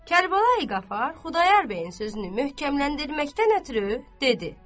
Kərbalayı Qafar Xudayar bəyin sözünü möhkəmləndirməkdən ötrü dedi: